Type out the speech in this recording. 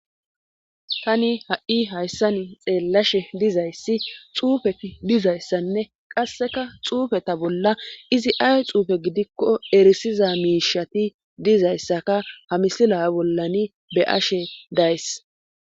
Tani ha7i hayssani xeellashe dizayssi xuufetidizayssanne qasseka xuufeta bolla izi ay xuufe gidikko erisiza miishati dizayssaka ha misila bollani be7ashe days.